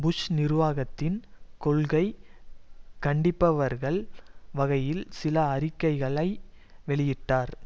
push நிர்வாகத்தின் கொள்கை கண்டிப்பவர்கள் வகையில் சில அறிக்கைகளை வெளியிட்டார்